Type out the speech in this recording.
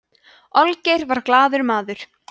olgeir var glaður maður